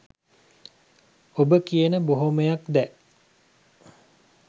ඔබ කියන බොහොමයක් දෑ